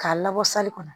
K'a labɔ sali kɔnɔ